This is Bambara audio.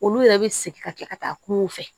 Olu yɛrɛ bɛ segin ka kɛ ka taa kungo fɛ